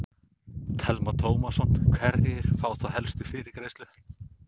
Telma Tómasson: Hverjir fá þá helst fyrirgreiðslu?